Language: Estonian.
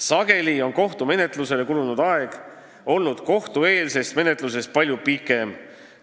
Sageli on kohtumenetlusele kulunud aeg olnud kohtueelse menetluse ajast palju pikem.